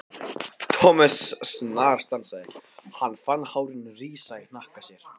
Thomas snarstansaði, hann fann hárin rísa í hnakka sér.